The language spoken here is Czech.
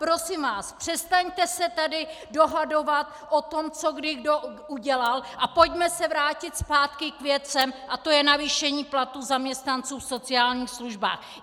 Prosím vás, přestaňte se tady dohadovat o tom, co kdy kdo udělal, a pojďme se vrátit zpátky k věcem, a to je navýšení platů zaměstnanců v sociálních službách.